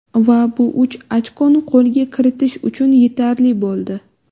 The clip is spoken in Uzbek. Va bu uch ochkoni qo‘lga kiritish uchun yetarli bo‘ldi.